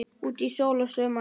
Úti er sól og sumar.